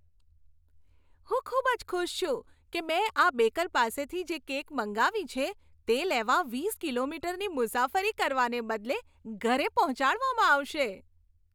હું ખૂબ જ ખુશ છું કે મેં આ બેકર પાસેથી જે કેક મંગાવી છે, તે લેવા વીસ કિલોમીટરની મુસાફરી કરવાને બદલે ઘરે પહોંચાડવામાં આવશે.